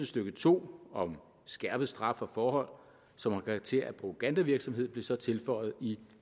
stykke to om skærpet straf for forhold som har karakter af propagandavirksomhed blev så tilføjet i